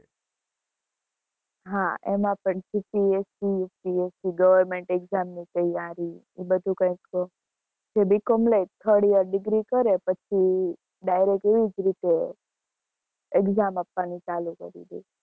હા એમાં પણ GPSCUPSCGoverment exam ની તયારી, એ બધું કંઈક તો BCOM લે. third year degree પછી direct એવી જ રીતે exam આપવાની ચાલુ કરી દે.